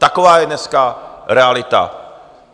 Taková je dneska realita!